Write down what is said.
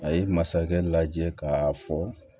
A ye masakɛ lajɛ k'a fɔ